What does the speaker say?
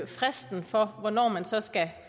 fristen for hvornår man så skal